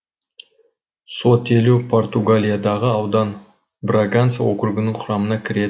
сотелу португалиядағы аудан браганса округінің құрамына кіреді